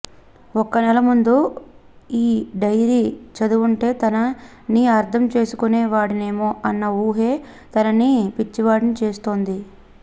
ఒక్క నెల ముందు ఈ డైరీ చదివుంటే తనని అర్ధం చేసుకునే వాడినేమో అన్న ఊహే తనని పిచ్చివాడిని చేస్తోంది